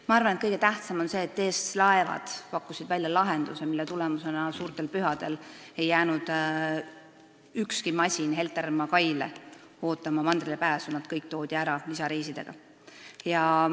Ma arvan, et kõige tähtsam on see, et TS Laevad pakkusid välja lahenduse, mille tulemusena suurtel pühadel ei jäänud ükski masin Heltermaa kaile ootama mandrile pääsu, nad kõik toodi ära lisareisidega.